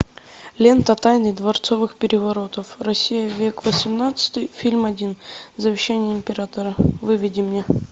лента тайны дворцовых переворотов россия век восемнадцатый фильм один завещание императора выведи мне